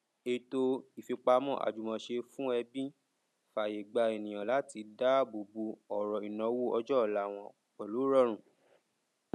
ètò ìfipamọ àjùmọṣe fún ẹbí fààyè gbà ènìyàn láti dáàbò bò ọrọ ìnáwó ọjọ ọla wọn pẹlú ìrọrùn